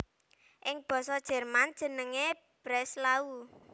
Ing basa Jerman jenengé Breslau